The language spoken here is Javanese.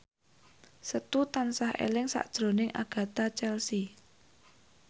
Setu tansah eling sakjroning Agatha Chelsea